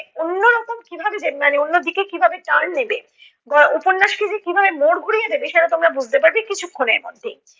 অন্য রকম কীভাবে যে মানে অন্য দিকে কীভাবে turn নেবে গ~ উপন্যাসটি যে কীভাবে মোড় ঘুরিয়ে দেবে সেটা তোমরা বুঝতে পারবে কিছুক্ষণের মধ্যেই